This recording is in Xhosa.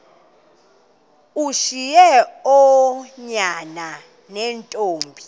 ushiye oonyana neentombi